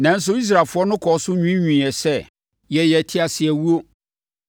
Nanso Israelfoɔ no kɔɔ so nwiinwiiɛ sɛ, “Yɛyɛ teaseawuo.